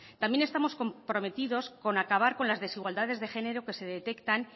también estamos comprometidos con acabar con las desigualdades de género que se detectan